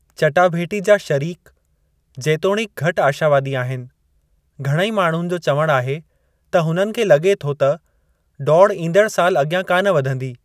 चटाभेटी जा शरीक, जेतोणीक घटि आशावादी आहिनि, घणेई माण्हुनि जो चवणु आहे त हुननि खे लगे॒ थो त डौड़ु इंदड़ु साल अगि॒यां कान वधंदी।